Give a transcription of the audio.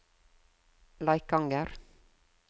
Leikanger